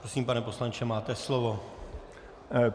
Prosím, pane poslanče, máte slovo.